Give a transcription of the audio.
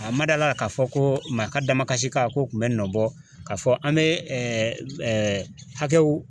A ma d'a la k'a fɔ ko maa ka damakasi kan ko kun bɛ nɔbɔ k'a fɔ an mɛ hakɛw